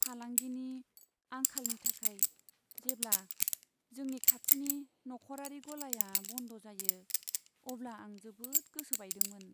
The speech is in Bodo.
फालांगिनि आंखालनि थाखाय जेब्ला जोंनि खाथिनि नखरारि गलाया बन्द जायो, अब्ला आं जोबोद गोसो बायदोंमोन।